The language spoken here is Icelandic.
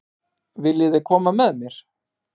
Viljiði koma með mér?